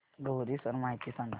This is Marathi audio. लोहरी सण माहिती सांगा